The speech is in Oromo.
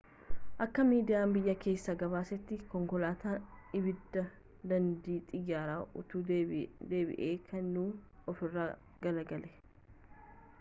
akka miidiyaan biyya keessa gabaasetti konkoolatan ibiddaa daandii xiyyara utuu deebii kennuu ofirra galagalee